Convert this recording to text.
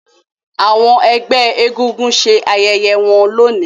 àwọn egbé egúngún ṣe ayẹyẹ wón lóni.